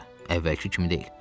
Əvvəlki kimi deyil.